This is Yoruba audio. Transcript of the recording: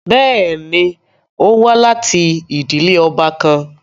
Bẹẹni, o wa lati idile ọba kan